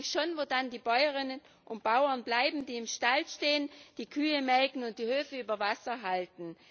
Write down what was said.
Ich frage mich schon, wo dann die Bäuerinnen und Bauern bleiben, die im Stall stehen, die Kühe melken und die Höfe über Wasser halten.